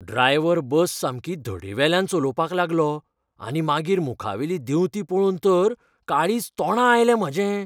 Driver bus सामकी धडेवेल्यान चलोवपाक लागलो आनी मागीर मुखावेली देंवती पळोवन तर काळीज तोंडां आयलें म्हाजें.